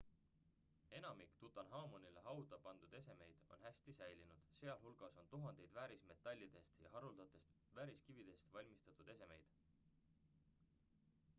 enamik tutanhamonile hauda pandud esemeid on hästi säilinud sealhulgas on tuhandeid väärismetallidest ja haruldastest vääriskividest valmistatud esemeid